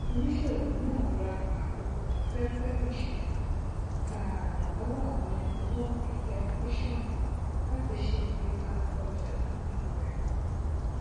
oníṣòwò náà ra àkókò afẹfẹ ìṣòwò tààrà lọwọ àwọn nẹtìwọọkì tẹlifíṣọnù láti ṣe igbégà ọja tuntun rẹ